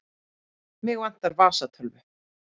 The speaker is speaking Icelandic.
Mig vantar vasatölvu.